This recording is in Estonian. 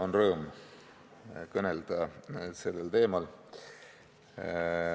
On rõõm kõnelda sellel teemal.